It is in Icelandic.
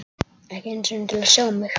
Ekki einu sinni til að sjá mig.